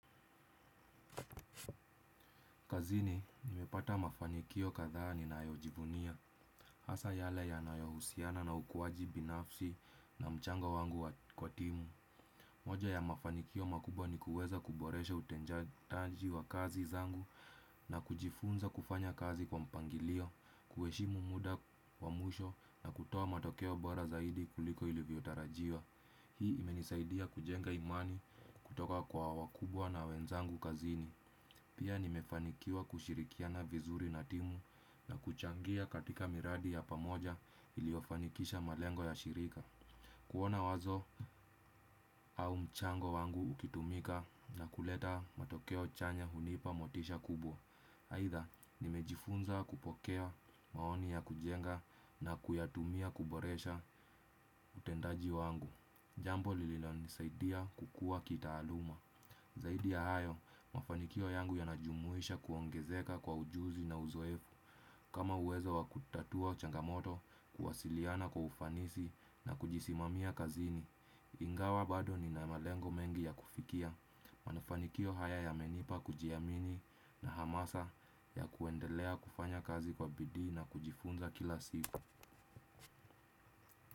Kazini, nimepata mafanikio kadhaa ninayojivunia. Hasa yale yanayohusiana na ukuaji binafsi na mchango wangu wa kwa timu. Moja ya mafanikio makubwa ni kuweza kuboresha utendaji wa kazi zangu na kujifunza kufanya kazi kwa mpangilio, kuheshimu muda wa mwisho na kutoa matokeo bora zaidi kuliko ilivyo tarajiwa. Hii imenisaidia kujenga imani kutoka kwa wakubwa na wenzangu kazini. Pia nimefanikiwa kushirikiana vizuri natimu na kuchangia katika miradi ya pamoja iliyofanikisha malengo ya shirika. Kuona wazo au mchango wangu ukitumika na kuleta matokeo chanya hunipa motisha kubwa. Aidha nimejifunza kupokea maoni ya kujenga na kuyatumia kuboresha utendaji wangu. Jambo lililonisaidia kukua kitaaluma. Zaidi ya hayo, mafanikio yangu yanajumuisha kuongezeka kwa ujuzi na uzoefu. Kama uwezo wa kutatua changamoto kuwasiliana kwa ufanisi na kujisimamia kazini. Ingawa bado nina malengo mengi ya kufikia. Manafanikio haya yamenipa kujiamini na hamasa ya kuendelea kufanya kazi kwa bidii na kujifunza kila siku.